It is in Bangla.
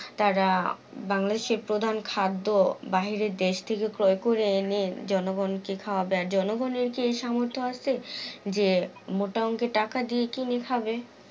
তারা বাংলাদেশের প্রধান খাদ্য বাইরের দেশ থেকে ক্রয় করে এনে জনগণকে খাওয়াবে, আর জনগণের যেই সামর্থ্য আছে যে মোটা অংকের টাকা দিয়ে কিনে খাবে?